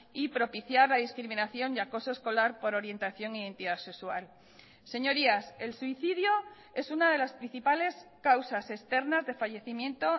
y propiciar la discriminación y acoso escolar por orientación e identidad sexual señorías el suicidio es una de las principales causas externas de fallecimiento